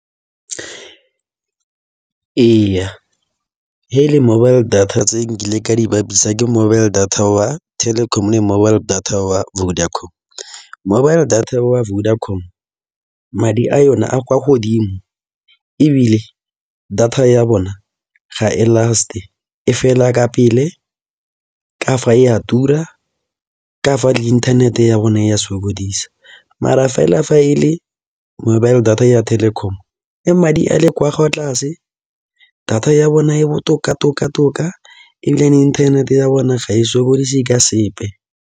Ee he e le mobile data tse nkile ka di bapisa ke mobile data waTelkom le mobile data wa Vodacom. Mobile data wa Vodacom madi a yone a kwa godimo ebile data ya bone ga e last-e, e fela ka pele, ka fa e a tura ka fa le inthanete ya bone ya sokodisa. Mara fela fa e le mobile data ya Telkom e madi a le kwa tlase data ya bona e botoka-toka ebile ene internet-e ya bone ga e sokodise ka sepe.